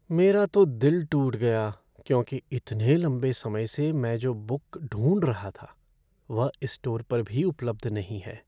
मेरा तो दिल टूट गया क्योंकि इतने लंबे समय से मैं जो बुक ढूंढ रहा था वह इस स्टोर पर भी उपलब्ध नहीं है।